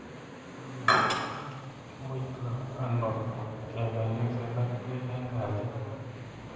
Kimutoi ano kemeng'isye ak piik eng' kalyet?